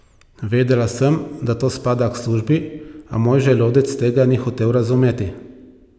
Vedela sem, da to spada k službi, a moj želodec tega ni hotel razumeti.